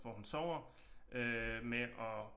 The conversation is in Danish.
Hvor hun sover øh med at